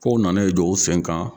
Kow nana i dɔ o sen kan.